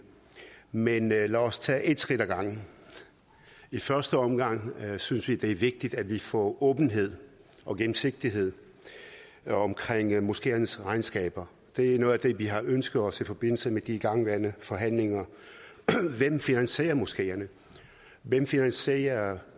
men lad os tage et skridt af gangen i første omgang synes vi det er vigtigt at vi får åbenhed og gennemsigtighed omkring moskeernes regnskaber det er noget af det vi har ønsket os i forbindelse med de igangværende forhandlinger hvem finansierer moskeerne hvem finansierer